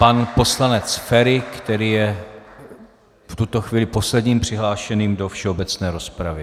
Pan poslanec Feri, který je v tuto chvíli posledním přihlášeným do všeobecné rozpravy.